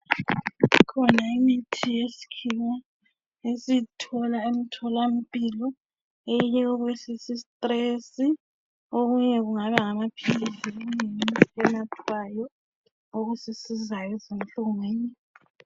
Ikhona imithi yesikhiwa esiyithola emthola mpilo ,eyokwehlisa istress. Okunye kungaba ngamaphilisi okunye yimithi enathwayo, okusizayo ezinhlungwini.